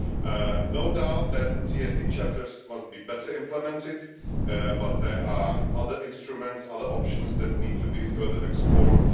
There is no doubt that TSD chapters must be better implemented, but there are other instruments, other options, that need to be further explored.